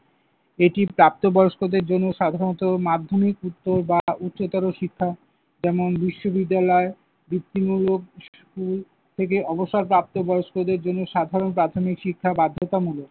এটি প্রাপ্তবয়স্কদের জন্য সাধারণত মাধ্যমিকোত্তর বা উচ্চতর শিক্ষা যেমন, বিশ্ববিদ্যালয় যুক্তিমূলক স্কুল থেকে অবসরপ্রাপ্ত বয়স্কদের জন্য সাধারণ প্রাথমিক শিক্ষা বাধ্যতামূলক।